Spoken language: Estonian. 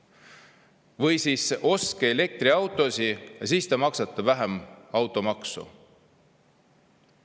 Või siis ostke elektriautosid ja siis te maksate vähem automaksu.